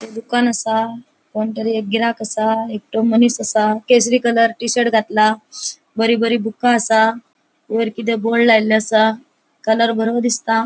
दुकान आसा कोण तरी एक गिराक आसा एकटो मनिस आसा केसरी कलर टी शर्ट घातला बरी बरी बुका आसा वयर किते बोर्ड लायल्लो आसा कलर बरो दिसता.